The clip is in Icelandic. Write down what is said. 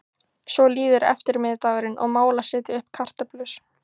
Svo líður eftirmiðdagurinn og mál að setja upp kartöflur.